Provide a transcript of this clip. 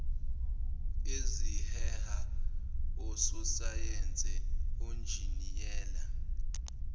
eziheha ososayense onjiniyela